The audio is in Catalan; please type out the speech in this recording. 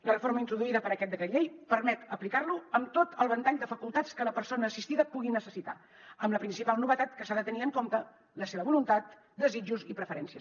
la reforma introduïda per aquest decret llei permet aplicar lo amb tot el ventall de facultats que la persona assistida pugui necessitar amb la principal novetat que s’ha de tenir en compte la seva voluntat desitjos i preferències